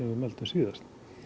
mældum síðast